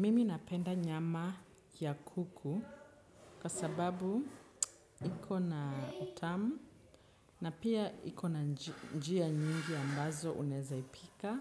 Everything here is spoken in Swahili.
Mimi napenda nyama ya kuku kwa sababu iko na utamu na pia iko na njia nyingi ambazo unaeza ipika